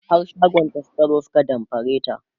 har shagonta Suka zo su ka damfare ta